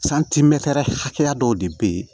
hakɛya dɔw de be ye